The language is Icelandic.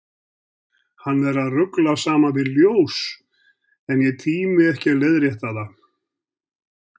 Hann er að rugla saman við ljós, en ég tími ekki að leiðrétta það.